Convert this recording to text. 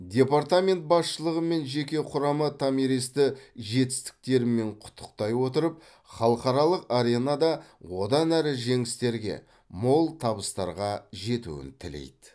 департамент басшылығы мен жеке құрамы томиристі жетістіктерімен құттықтай отырып халықаралық аренада одан әрі жеңістерге мол табыстарға жетуін тілейді